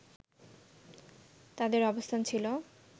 তাদের অবস্থান ছিল